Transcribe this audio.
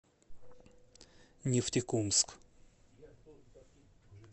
нефтекумск